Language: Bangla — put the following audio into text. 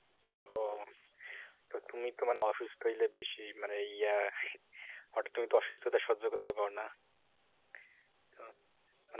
ও তো তুমি তো মানে অসুস্থ হইলে বেশি মানে ইয়া তুমি তো অসুস্থতা সহ্য করতে পারো না